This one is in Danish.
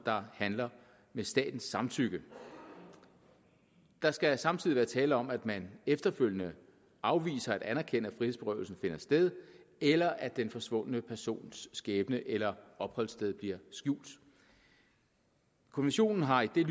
handler med statens samtykke der skal samtidig være tale om at man efterfølgende afviser at anerkende at frihedsberøvelsen finder sted eller at den forsvundne persons skæbne eller opholdssted bliver skjult konventionen har i